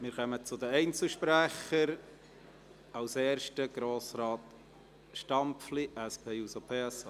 Wir kommen zu den Einzelsprechern, zuerst Grossrat Stampfli, SP-JUSO-PSA.